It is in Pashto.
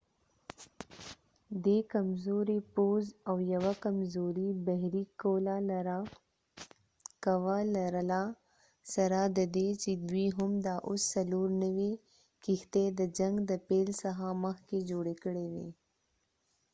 دي کمزوری پوځ او یوه کمزوری بحری قوه لرله سره ددې چې دوي هم دا اوس څلور نوي کښتی د جنګ د پیل څخه مخکې جوړی کړي وي